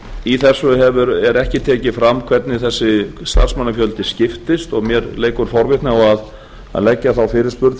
í þessu er ekki tekið fram hvernig þessi starfsmannafjöldi skiptist og mér leikur forvitni á að leggja þá fyrirspurn